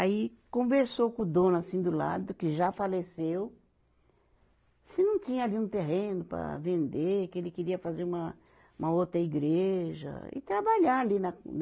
Aí conversou com o dono assim do lado, que já faleceu, se não tinha ali um terreno para vender, que ele queria fazer uma, uma outra igreja e trabalhar ali na, né?